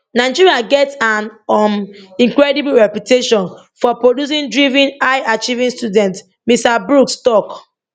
nigeria get an um incredible reputation for producing driven highachieving students mr brooks tok